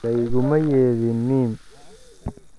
Layguma yeedhin mim.i